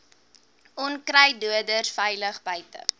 onkruiddoders veilig buite